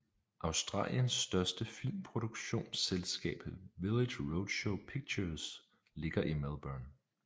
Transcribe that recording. Australiens største filmproduktionsselskab Village Roadshow Pictures ligger i Melbourne